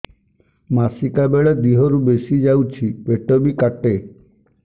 ମାସିକା ବେଳେ ଦିହରୁ ବେଶି ଯାଉଛି ପେଟ ବି କାଟେ